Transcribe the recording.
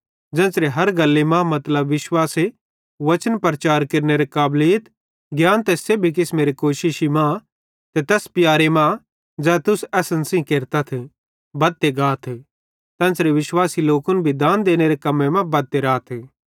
ज़ेन्च़रे हर गल्ली मां मतलब विश्वासे वचन प्रचार केरनेरे काबलीत ज्ञाने ते सेब्भी किसमेरे कोशिश मां ते तैस प्यारे मां ज़ै तुस असन सेइं केरतथ बद्धते गातथ तेन्च़रे विश्वासी लोकन दान देनेरे कम्मे मां बद्धते राथ